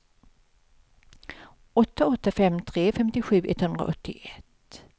åtta åtta fem tre femtiosju etthundraåttioett